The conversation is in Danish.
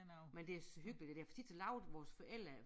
Men det er hyggeligt det der for tit så lavede vores forældre